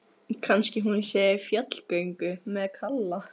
Kannski hún sé í fjallgöngu með Kalla.